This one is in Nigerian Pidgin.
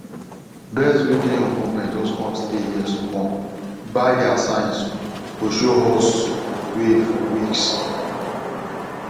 birds wey dey on movement just come stay here smallbuy their signs go show us way for weeks